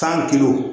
San